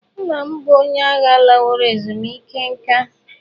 Nna m bụ onye agha laworo ezumike nka.